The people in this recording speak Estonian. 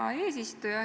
Hea eesistuja!